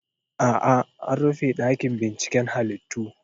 A'a, an rufe ɗakin binciken halittu.